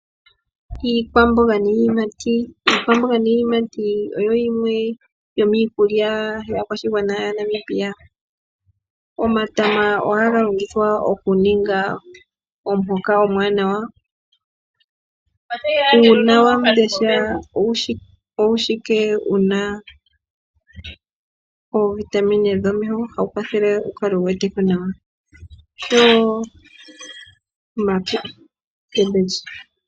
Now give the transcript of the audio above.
Iikwamboga niiyimati, iikwamboga niiyimati oyo yimwe yo miikulya yaakwashigwana yaNamibia. Omatama ohaga longithwa oku ninga omuhoka omwaanawa. Uuna wandesha owu shiwike wuna oovitamine dhomeho hawu kwathele wu kale wu wete ko nawa nosho wo omboga.